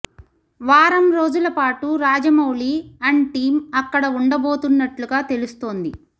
వారం రోజుల పాటు రాజమౌళి అండ్ టీం అక్కడ ఉండబోతున్నట్లుగా తెలుస్తోంది